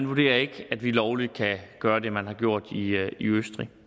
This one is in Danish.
vurderer at vi lovligt kan gøre det man har gjort i østrig